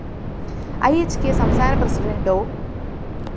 E ഹ്‌ കെ സംസ്ഥാന പ്രസിഡന്റ് ഡോ